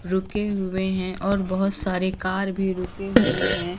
रुके हुए हैं और बहोत सारे कार भी रुके हुए हैं।